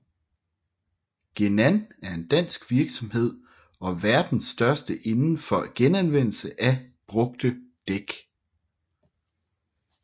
Genan er en dansk virksomhed og verdens største inden for genanvendelse af brugte dæk